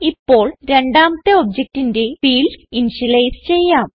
ഇപ്പോൾ രണ്ടാമത്തെ objectന്റെ ഫീൽഡ്സ് ഇനിഷ്യലൈസ് ചെയ്യാം